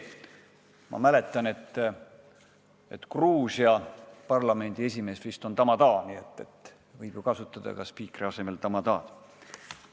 Ma mäletan, et Gruusia parlamendi esimees on vist tamada, nii et "spiikri" asemel võib kasutada ka tamada'd.